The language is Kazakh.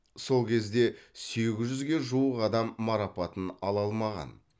сол кезде сегіз жүзге жуық адам марапатын ала алмаған